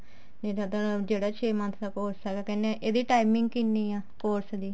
ਨਹੀਂ ਸਾਡਾ ਜਿਹੜਾ ਛੇ month ਦਾ course ਹੈ ਕਹਿੰਦੇ ਇਹਦੀ timing ਕਿੰਨੀ ਆ course ਦੀ